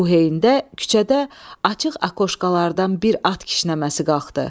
Bu heynədə küçədə açıq akoşkalardan bir at kişnəməsi qalxdı.